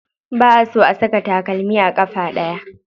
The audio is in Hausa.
Ba a so a saka takalmi a ƙafa ɗaya.